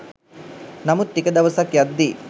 නමුත් ටික දවසක් යද්දී